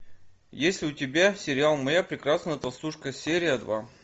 есть ли у тебя сериал моя прекрасная толстушка серия два